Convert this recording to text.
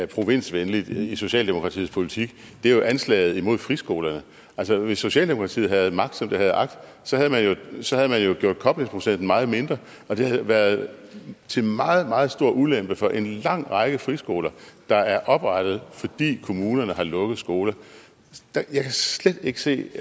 provinsvenligt i socialdemokratiets politik er anslaget imod friskolerne hvis socialdemokratiet havde haft magt som det har agt havde man jo gjort koblingsprocenten meget mindre og det har været til meget meget stor ulempe for en lang række friskoler der er oprettet fordi kommunerne har lukket skoler jeg kan slet ikke se